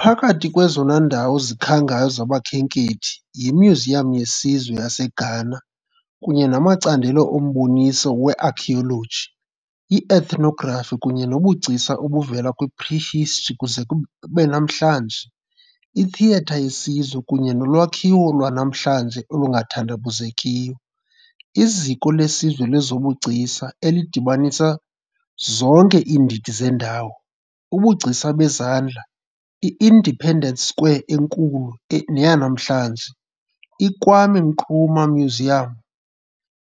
Phakathi kwezona ndawo zikhangayo zabakhenkethi yiMyuziyam yeSizwe yaseGhana, kunye namacandelo omboniso we-archeology, i-ethnography kunye nobugcisa obuvela kwi -prehistory kuze kube namhlanje, iTheatre yeSizwe kunye nolwakhiwo lwanamhlanje olungathandabuzekiyo, iZiko leSizwe lezoBugcisa, elidibanisa zonke iindidi zendawo. ubugcisa bezandla, i-Independence Square enkulu neyanamhlanje, iKwame Nkrumah Mausoleum,